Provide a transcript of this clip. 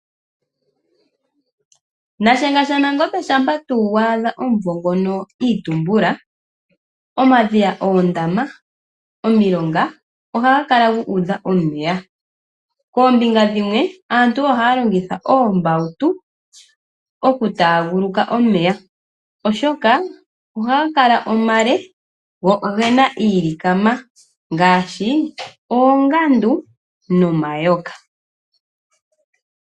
Nashenga shaNangombe shampa tuu wa adha omunvo ngono itumbula, oomadhiya, oondama oomilonga ohaga kala guudha omeya. Koombinga dhimwe aantu oha longitha ombawutu oku tanguluka omeya, oshoka ohaga kala omale go ogena iilikama ngaashi oongandu nomayoka.